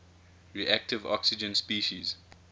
reactive oxygen species